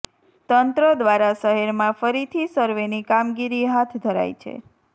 તંત્ર દ્વારા શહેરમાં ફરીથી સર્વેની કામગીરી હાથ ધરાઇ છે